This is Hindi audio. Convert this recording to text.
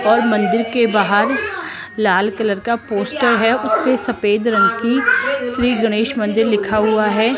और मंदिर के बाहर लाल कलर का पोस्टर है उसपे सफेद रंग की श्री गणेश मंदिर लिखा हुआ है।